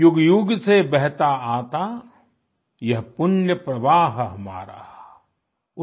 युगयुग से बहता आता यह पुण्य प्रवाह हमारा आई